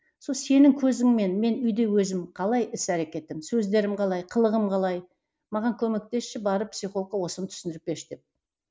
сол сенің көзіңмен мен үйде өзім қалай іс әрекетім сөздерім қалай қылығым қалай маған көмектесші барып психологқа осыны түсіндіріп берші деп